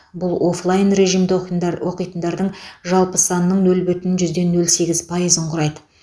бұл офлайн режимде оқитндар оқитындардың жалпы санының нөл бүтін жүзден нөл сегіз пайыз құрайды